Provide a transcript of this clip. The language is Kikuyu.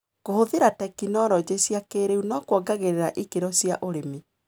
Kũhũthĩra tekinologĩ cia kĩrĩu nĩkuongagĩrĩra ikĩro cia ũrĩmi.